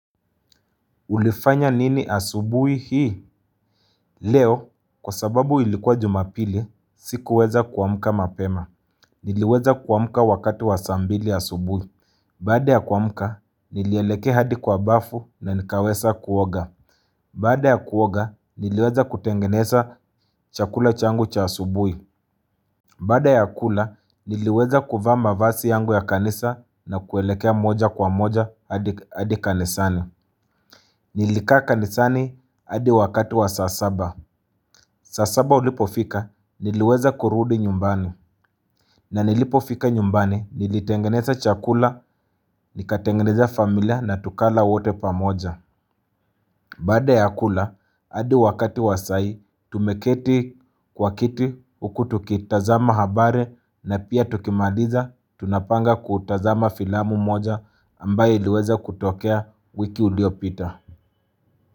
Ulifanya nini asubuhi hii? Leo, kwa sababu ilikuwa jumapili, sikuweza kuamka mapema. Niliweza kuamka wakati wa saa mbili asubuhi. Baada ya kuamka, nilielekea hadi kwa bafu na nikaweza kuoga. Bada ya kuoga, niliweza kutengeneza chakula changu cha asubuhi. Bada ya kula, niliweza kuvaa mavazi yangu ya kanisa na kuelekea moja kwa moja hadi kanisani. Nilikaa kanisani hadi wakati wa saa saba saa saba ilipofika niliweza kurudi nyumbani Baada ya kuoga, niliweza kutengeneza chakula changu cha asubui. Bada ya kula hadi wakati wasai tumeketi kwa kiti huku tukitazama habari na pia tukimaliza Tunapanga kutazama filamu moja ambaye iliweza kutokea wiki iliopita.